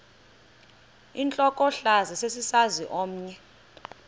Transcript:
intlokohlaza sesisaz omny